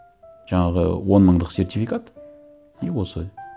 жаңағы он мыңдық сертификат и осы